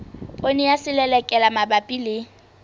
poone ya selelekela mabapi le